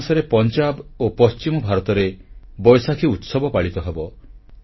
April ମାସରେ ପଞ୍ଜାବ ଓ ପଶ୍ଚିମ ଭାରତରେ ବୈଶାଖୀ ଉତ୍ସବ ପାଳିତ ହେବ